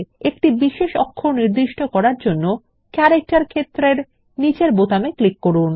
একটি বিশেষ অক্ষর নির্দিষ্ট করার জন্য ক্যারেক্টার ক্ষেত্রের নিচের বোতামে ক্লিক করুন